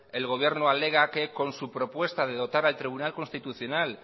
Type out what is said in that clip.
el gobierno alega que con su propuesta de dotar al tribunal constitucional